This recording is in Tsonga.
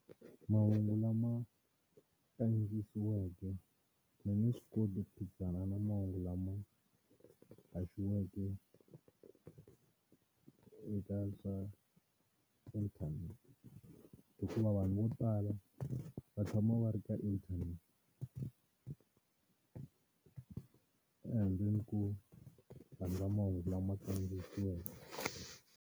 Mahungu lama kandziyisiweke ma nge swi koti ku phikizana na mahungu lama haxiweke eka swa internet, hikuva vanhu vo tala va tshama va ri ka inthanete ehandleni ko rhandza mahungu lama kandziyisiweke.